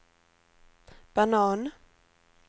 banan